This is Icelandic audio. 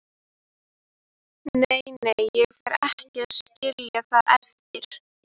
Nei, nei, ég fer ekki að skilja það eftir.